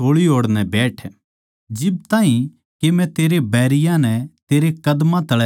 जिब ताहीं के मै तेरे बैरियाँ नै तेरे कदमां तळै ना झुका दियुँ